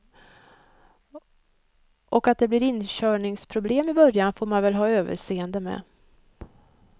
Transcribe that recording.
Och att det blir inkörningsproblem i början får man väl ha överseende med.